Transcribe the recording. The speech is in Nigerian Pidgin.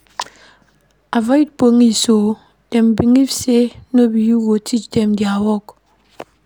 Avoid police o, dem believe sey no be you go teach dem their work.